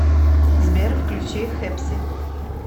сбер включи хэпси